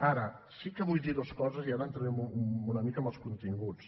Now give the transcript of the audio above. ara sí que vull dir dues coses i ara entraré una mica en els continguts